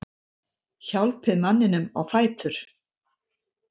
Hjálpið manninum á fætur.